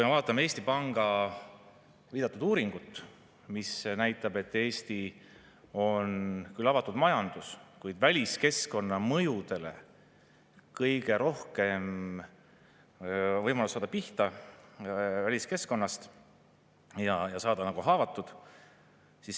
Vaatame Eesti Panga viidatud uuringut, mis näitab, et Eesti on küll avatud majandus, kuid meil on kõige suurem võimalus saada pihta on väliskeskkonnast ja saada haavatud.